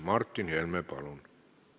Martin Helme, palun!